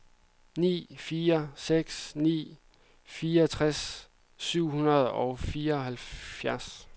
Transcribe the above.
ni fire seks ni fireogtres syv hundrede og fireoghalvfjerds